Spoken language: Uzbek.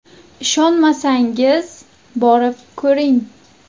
Ishonmasangiz, borib ko‘ring.